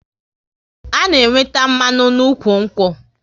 A na-enweta mmanụ n'ụkwụ nkwụ